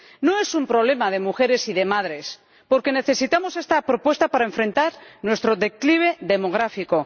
No es un problema de mujeres y de madres necesitamos esta propuesta para hacer frente a nuestro declive demográfico.